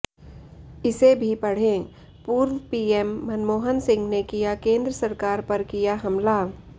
इसे भी पढ़ेः पूर्व पीएम मनमोहन सिंह ने किया केंद्र सरकार पर किया हमला